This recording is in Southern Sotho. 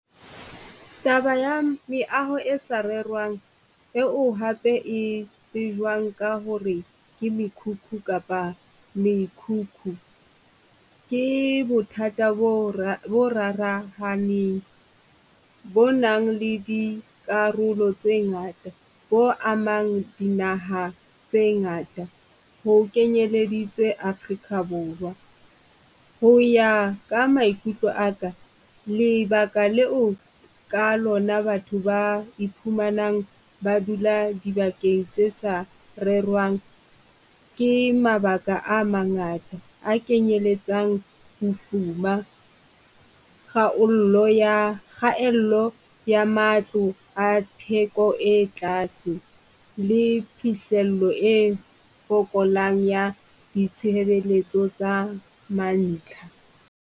Taba ya meaho e sa rerwang e o hape e tsejwang ka ho re ke mekhukhu kapa mekhukhu ke bothata bo bo rarahaneng, Bo nang le dikarolo tse ngata bo amang dinaha tse ngata, ho kenyeleditswe Afrika Borwa. Ho ya ka maikutlo aka lebaka leo ka lona batho ba iphumanang ba dula dibakeng tse sa rerwang, ke mabaka a mangata a kenyeletsang bofuma, khaello ya matlo a theko e tlase le phihlello e fokolang ya ditshebeletso tsa ma ntlha.